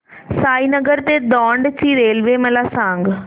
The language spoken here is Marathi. साईनगर ते दौंड ची रेल्वे मला सांग